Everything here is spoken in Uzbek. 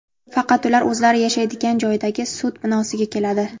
Faqat ular o‘zlari yashaydigan joydagi sud binosiga keladi.